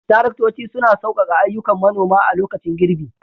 Taraktoci suna saukaka ayyukan manoma a lokacin girbi.